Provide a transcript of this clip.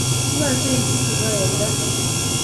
Yoche ichutu ko eng gaa